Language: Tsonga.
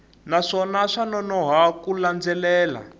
naswona swa nonoha ku landzelela